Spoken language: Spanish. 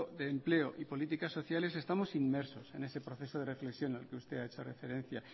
de empleo y políticas sociales estamos inmersos en ese proceso de reflexión al que usted ha hecho referencia